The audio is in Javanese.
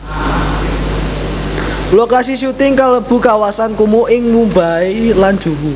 Lokasi syuting kalebu kawasan kumuh ing Mumbai lan Juhu